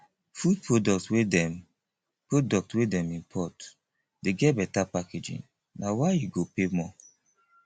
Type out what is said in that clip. food products wey dem products wey dem import dey get beta packaging na why you go pay more